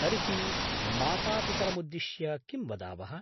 तरहि मातापितरमुद्दिश्य किं वदावः?